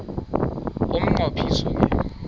umnqo phiso ke